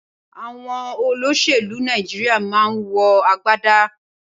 Awòn öloṣélù Nàijiriá mà n wò àgbádá